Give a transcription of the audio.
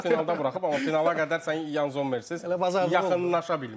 Beş qol finalda buraxıb, amma finala qədər sən Yan Zommersiz yaxınlaşa bilməzdin.